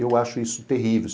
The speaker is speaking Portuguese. Eu acho isso terrível.